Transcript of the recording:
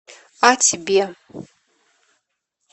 а тебе